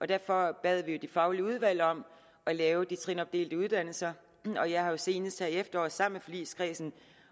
derfor bad vi de faglige udvalg om at lave de trinopdelte uddannelser og jeg har jo senest her i efteråret sammen med forligskredsen